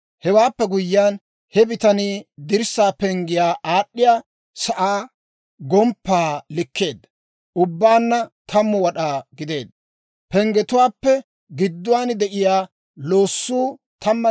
Hewaappe guyyiyaan, he bitanii dirssaa penggiyaa aad'd'iyaa sa'aa gomppaa likkeedda; ubbaanna 10 wad'aa gideedda. Penggetuwaappe gidduwaan de'iyaa loossuu 13 wad'aa.